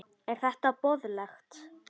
Er þetta boðlegt?